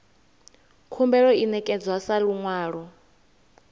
khumbelo i ṋekedzwa sa luṅwalo